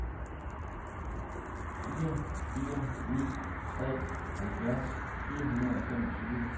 fire fire ni tre halvfjerds fire hundrede og femogtyve